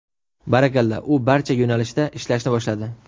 Barakalla, u barcha yo‘nalishda ishlashni boshladi.